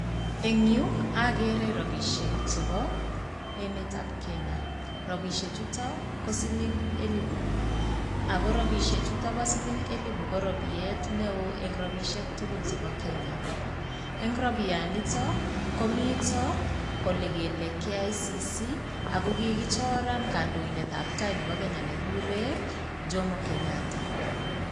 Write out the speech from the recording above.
Eng yu, agere rapisiek chepo emetab Kenya. Rapisiek chuto ko siling eliput ago rapisiek chuto bo siling elipu ko rapiet neo eng rapisiek tugul chebo kenya. Eng rapianito komita olegele KICC ago kigichoran kandoindetab tai nebo Kenya negigure Jomo Kenyatta.